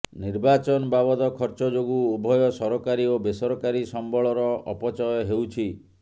ନିର୍ବାଚନ ବାବଦ ଖର୍ଚ୍ଚ ଯୋଗୁ ଉଭୟ ସରକାରୀ ଓ ବେସରକାରୀ ସମ୍ବଳର ଅପଚୟ ହେଉଛି